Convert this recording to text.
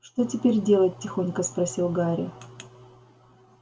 что теперь делать тихонько спросил гарри